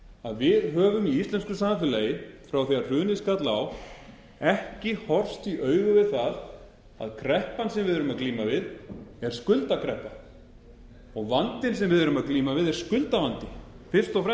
að við höfum í íslensku samfélagi frá því hrunið skall á ekki horfst í augu við það að kreppan sem við erum að glíma við er skuldakreppa vandinn sem við erum að glíma við er skuldavandi fyrst og